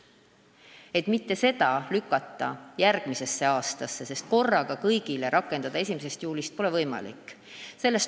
Me ei tahtnud lükata seda järgmisesse aastasse, aga korraga kõigile rakendada 1. juulist pole võimalik.